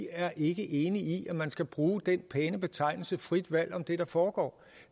er enige i at man skal bruge den pæne betegnelse frit valg om det der foregår